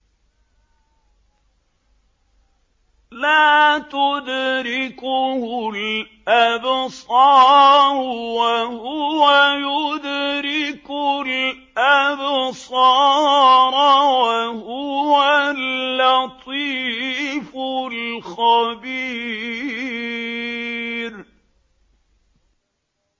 لَّا تُدْرِكُهُ الْأَبْصَارُ وَهُوَ يُدْرِكُ الْأَبْصَارَ ۖ وَهُوَ اللَّطِيفُ الْخَبِيرُ